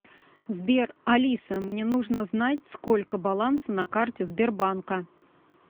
сбер алиса мне нужно знать сколько баланса на карте сбербанка